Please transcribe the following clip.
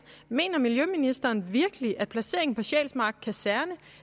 mener miljøministeren virkelig at placeringen på sjælsmark kaserne